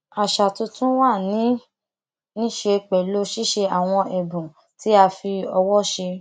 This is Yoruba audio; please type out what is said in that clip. àṣà tuntun wa ní í ṣe pẹlú ṣíṣe àwọn èbùn tí a fi ọwọ ṣe